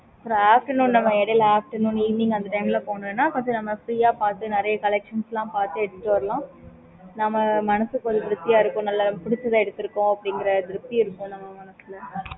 இடைல afternoon even அந்த ல போனோம்னா நிறைய collections லாம் பார்த்து எடுத்துட்டு வரலாம்